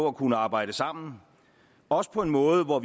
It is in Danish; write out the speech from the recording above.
at kunne arbejde sammen også på en måde hvor